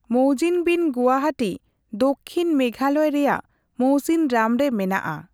ᱢᱚᱣᱡᱤᱢᱵᱩᱤᱱ ᱜᱩᱦᱟᱴᱤ ᱫᱚᱠᱠᱷᱤᱱ ᱢᱮᱜᱷᱟᱞᱚᱭ ᱨᱮᱭᱟᱜ ᱢᱳᱥᱤᱱᱨᱟᱢ ᱨᱮ ᱢᱮᱱᱟᱜᱼᱟ ᱾